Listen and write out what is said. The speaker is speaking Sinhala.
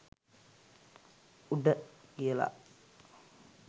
“උඩ” කියලා.